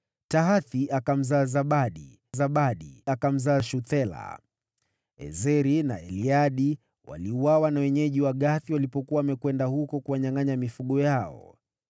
Tahathi akamzaa Zabadi, na Zabadi akamzaa Shuthela. Ezeri na Eleadi waliuawa na wenyeji wa Gathi walipokuwa wamekwenda huko kuwanyangʼanya mifugo yao.